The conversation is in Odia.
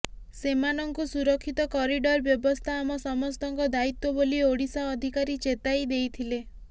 ସେମାନଙ୍କୁ ସୁରକ୍ଷିତ କରିଡର୍ ବ୍ୟବସ୍ଥା ଆମ ସମସ୍ତଙ୍କ ଦାୟିତ୍ବ ବୋଲି ଓଡ଼ିଶା ଅଧିକାରୀ ଚେତାଇ ଦେଇଥିଲେ